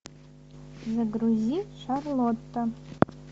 загрузи шарлотта